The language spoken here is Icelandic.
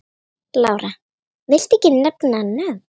Lára: Viltu ekki nefna nöfn?